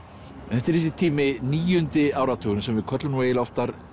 þetta er þessi tími níundi áratugurinn sem við köllum nú eiginlega oftar